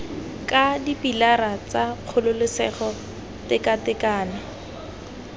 ka dipilara tsa kgololesego tekatekano